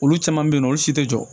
Olu caman bɛ yen nɔ olu si tɛ jɔ